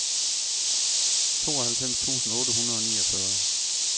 tooghalvfems tusind otte hundrede og niogfyrre